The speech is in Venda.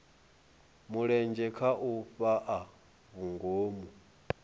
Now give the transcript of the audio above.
mulenzhe kha u fhaa vhungomu